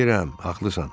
Bilirəm, haqlısan.